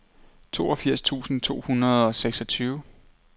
toogfirs tusind to hundrede og seksogtyve